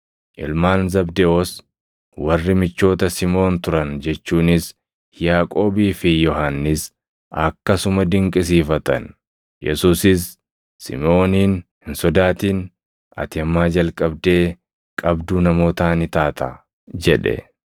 ilmaan Zabdewoos warri michoota Simoon turan jechuunis Yaaqoobii fi Yohannis akkasuma dinqisiifatan. Yesuusis Simʼooniin, “Hin sodaatin; ati ammaa jalqabdee qabduu namootaa ni taataa” jedhe.